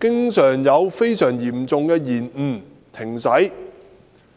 經常出現非常嚴重的延誤或停駛。